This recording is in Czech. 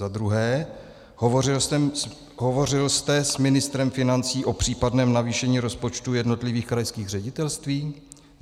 Za druhé: Hovořil jste s ministrem financí o případném navýšení rozpočtů jednotlivých krajských ředitelství?